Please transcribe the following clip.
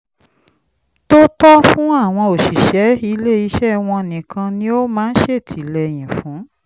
tó tọ́ fún àwọn òṣìṣẹ́ ilé iṣẹ́ wọn nìkan ni ó máa ń ṣètìlẹyìn fún